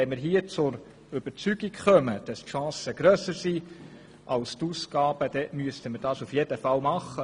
Wenn wir hier zur Überzeugung gelangen, dass die Chancen grösser sind als die Ausgaben, dann müssten wir das in jedem Fall tun.